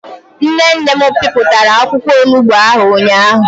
Nne nne m piputara akwukwo onugbo ahu ụnyahụ.